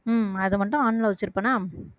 உம் அது மட்டும் on ல வச்சிருப்பேனா